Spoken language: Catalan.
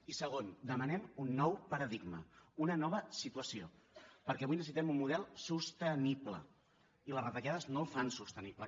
i segon demanem un nou paradigma una nova situació perquè avui necessitem un model sostenible i les retallades no el fan sostenible